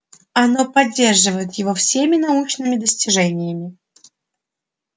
оно поддерживает его всеми научными достижениями